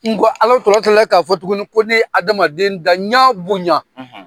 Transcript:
N ko Ala tila k'a fɔ tuguni ko ne ye adamaden da, n ɲa bonya